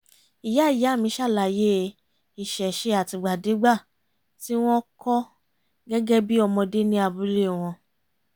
ìyá ìyá mi ṣàlàyé ìṣẹ̀ṣe àtìgbàdégbà tí wọ́n kọ́ gẹ́gẹ́ bí ọmọdé ní abúlé wọn